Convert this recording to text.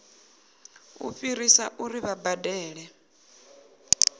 u fhirisa uri vha badele